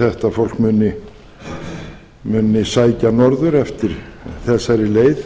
að þetta fólk muni sækja norður eftir þessari leið